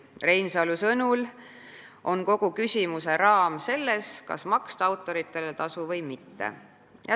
Reinsalu sõnul on kogu küsimuse raam selles, kas maksta autoritele tasu või mitte.